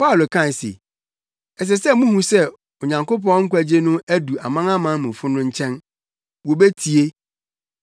Paulo kae se, “Ɛsɛ sɛ muhu sɛ Onyankopɔn nkwagye no adu amanamanmufo no nkyɛn. Wobetie!”